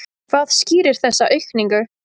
Hvað skýrir þessa aukningu?